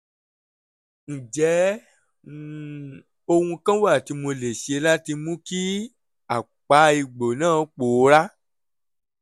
ǹjẹ́ um ohun kan wà tí mo lè ṣe láti mú kí àpá egbò náà pòórá?